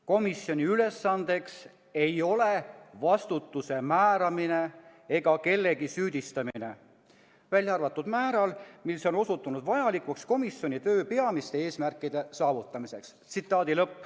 Komisjoni ülesandeks ei ole vastutuse määramine ega kellegi süüdistamine, välja arvatud sel määral, mis on osutunud vajalikuks komisjoni töö peamiste eesmärkide saavutamiseks.